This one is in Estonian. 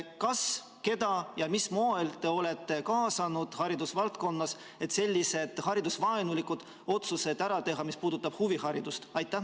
Kas, keda ja mil moel te olete kaasanud haridusvaldkonnas, et teha sellised haridusvaenulikke otsuseid, mis puudutab huviharidust?